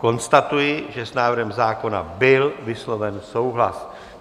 Konstatuji, že s návrhem zákona byl vysloven souhlas.